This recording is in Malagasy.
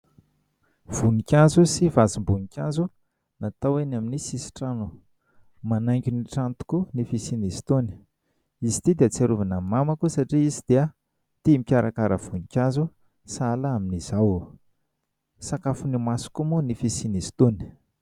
Voninkazo sy vazim-boninkazo natao eny amin'ny sisin-trano. Manaingo ny trano tokoa ny fisian'izy itony. Izy ity dia ahatsiarovana ny mamako satria izy dia tia mikarakara voninkazo sahala amin'izao. Sakafon'ny maso koa moa ny fisian'izy itony.